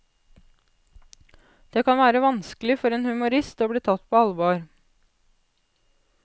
Det kan være vanskelig for en humorist å bli tatt på alvor.